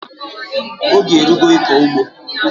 Oge erugo ịkọ ugbo!